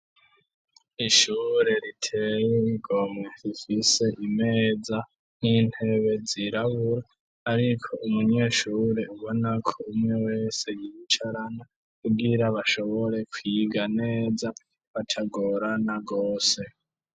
Ishure riteye igomwe rifise imeza n'intebe zirabura ariko umunyeshure ubona ko umwe wese yiyicarana kugira bashobore kwiga neza batagorana gose.